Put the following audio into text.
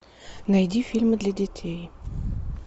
найди фильмы для детей